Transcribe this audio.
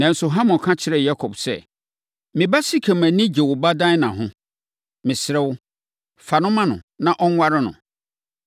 Nanso, Hamor ka kyerɛɛ Yakob sɛ, “Me ba Sekem ani gye wo ba Dina ho. Mesrɛ wo, fa no ma no, na ɔnware no.